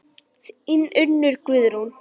Þín Unnur Guðrún.